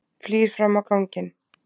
Flýr fram á ganginn.